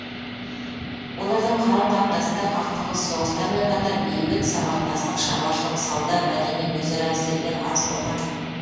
олардың карым қатынасында қақтығыс соғыстармен қатар бейбіт сабақтастық шаруашылық сауда мәдени өзара әсерлер аз болған жоқ